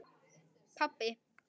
Þá grét hann.